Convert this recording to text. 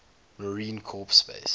marine corps base